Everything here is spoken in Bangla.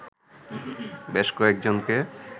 বেশ কয়েকজনকে